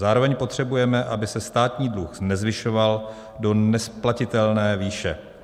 Zároveň potřebujeme, aby se státní dluh nezvyšoval do nesplatitelné výše.